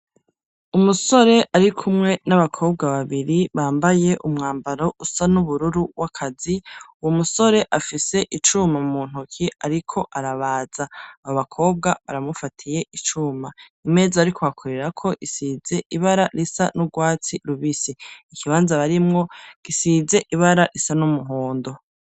Umusore ari kumwe n'abakobwa babiri, bambaye umwambaro usa n'ubururu w'akazi, uwo musore afise icuma mu ntuke, ariko arabaza; abo bakobwa baramufatiye icuma; imeza ariko akorerako, isize ibara risa n'urwatsi rubisi; ikibanza barimwo gisize ibara risa n'umuhondo.